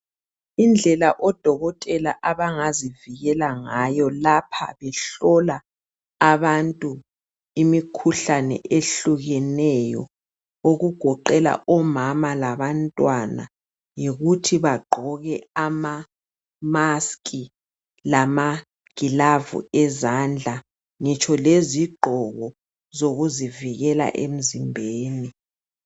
Indlela odokotela abangazivikela ngayo lapha behlola abantu imikhuhlane ehlukeneyo okugoqela umama labantwana, yikuthi bagqoke ama-musk lama gilavu ezandla ngitsho lezigqoko zokuzivikela emzimbeni.